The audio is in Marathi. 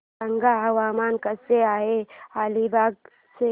सांगा हवामान कसे आहे अलिबाग चे